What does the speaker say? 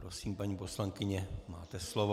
Prosím, paní poslankyně, máte slovo.